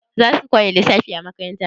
Za su koya lissafi a makaranta?